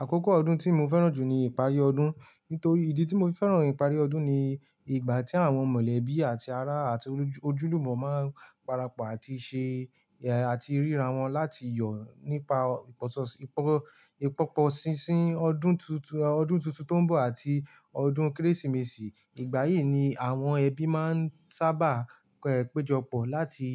Àkókò ọdún tí mo fẹ́ràn jù ni ìparí ọdún. Nítorí ìdí tí mo fi fẹ́ràn ìparí ọdún ni ìgbà tí àwọn mọ̀lẹ́bí àti ará àti ojúlùmọ̀ máa ń parapọ̀ àti ṣe, eh, àti ríra wọn láti yọ̀ nípa ọ̀sọsì, ìpọ̀, ìpọ́pọ̀ ṣinṣin ọdún túntún, ọdún túntún tó ń bọ̀ àti ọdún Kérésìmesì. Ìgbà yìí ni àwọn ẹbí máa ń sábà péjọ pọ̀ láti,